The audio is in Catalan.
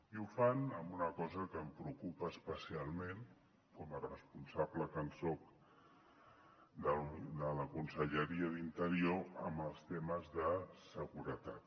i ho fan en una cosa que em preocupa especialment com a responsable que soc de la conselleria d’interior amb els temes de seguretat